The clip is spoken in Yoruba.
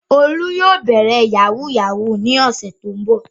Olú yóò bẹ̀rẹ̀ yahoo yahoo ní ọ̀sẹ̀ tó ń bọ̀.